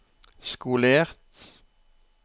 skolert